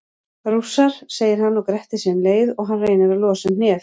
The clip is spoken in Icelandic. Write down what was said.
Rússar, segir hann og grettir sig um leið og hann reynir að losa um hnéð.